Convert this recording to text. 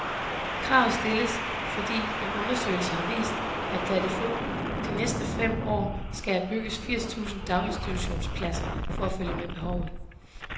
Kravet stilles, fordi en undersøgelse har vist, at der de næste fem år skal bygges firs tusind daginstitutionspladser for at følge med behovet.